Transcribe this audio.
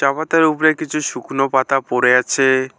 চা পাতার উপরে কিছু শুকনো পাতা পড়ে আছে।